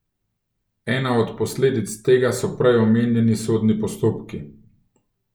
Ena od posledic tega so prej omenjeni sodni postopki.